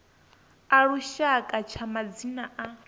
a lushaka tsha madzina a